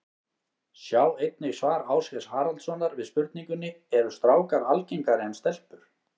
Sjá einnig svar Ásgeirs Haraldssonar við spurningunni Eru strákar algengari en stelpur?